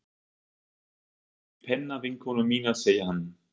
Ég heimsótti pennavinkonu mína, segir hann.